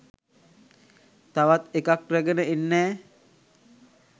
තවත් එකක් රැගෙන එන්නැ